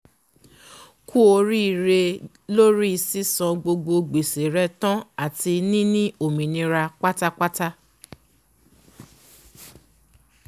kú oríre lóri sísan gbogbo gbèsè re tán àti níní òmìnira pátápátá